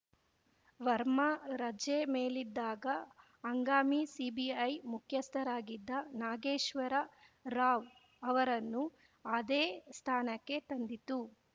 ವರ್ಮಾ ರಜೆ ಮೇಲಿದ್ದಾಗ ಹಂಗಾಮಿ ಸಿಬಿಐ ಮುಖ್ಯಸ್ಥರಾಗಿದ್ದ ನಾಗೇಶ್ವರ ರಾವ್‌ ಅವರನ್ನು ಅದೇ ಸ್ಥಾನಕ್ಕೆ ತಂದಿತ್ತು